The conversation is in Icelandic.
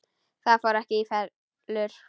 Það fór ekki í felur.